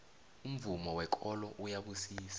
umvumo wekolo uyabusisa